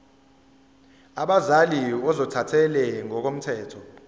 abazali ozothathele ngokomthetho